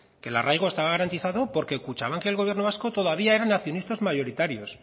que el arraigo estaba garantizado porque kutxabank y el gobierno vasco todavía eran accionistas mayoritarios